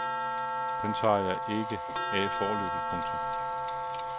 Den tager jeg ikke af foreløbig. punktum